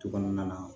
Du kɔnɔna na